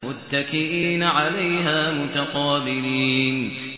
مُّتَّكِئِينَ عَلَيْهَا مُتَقَابِلِينَ